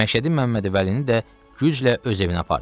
Məşədi Məmməd Vəlini də güclə öz evinə apardılar.